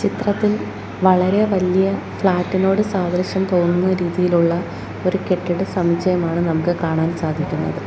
ചിത്രത്തിൽ വളരെ വലിയ ഫ്ലാറ്റ് നോട് സാദൃശ്യം തോന്നുന്ന രീതിയിലുള്ള ഒരു കെട്ടിട സമുച്ചയമാണ് നമുക്ക് കാണാൻ സാധിക്കുന്നത്.